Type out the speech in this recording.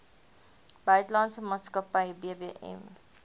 buitelandse maatskappy bbm